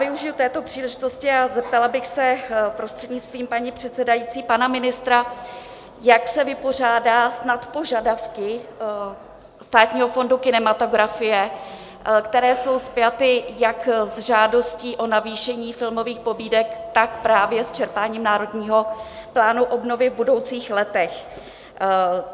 Využiji této příležitosti a zeptala bych se, prostřednictvím paní předsedající, pana ministra, jak se vypořádá s nadpožadavky Státního fondu kinematografie, které jsou spjaty jak s žádostí o navýšení filmových pobídek, tak právě s čerpáním Národního plánu obnovy v budoucích letech.